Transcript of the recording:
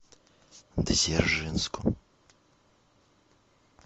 дзержинску